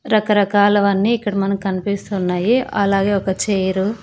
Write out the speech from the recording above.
రకరకాలవన్నీ ఇక్కడ మనకన్పిస్తున్నాయి అలాగే ఒక చైరు --